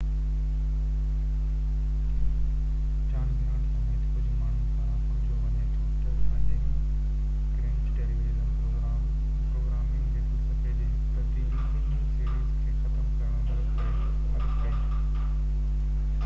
جان Grant سميت ڪجهه ماڻهن پاران سمجهيو وڃي ٿو ته فنڊنگ ڪرنچ ٽيليويزن پروگرامنگ جي فلسفي جي هڪ تبديلي ٻنهي سيريز کي ختم ڪرڻ ۾ مدد ڪئي